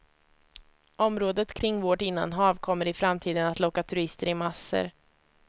Området kring vårt innanhav kommer i framtiden att locka turister i massor.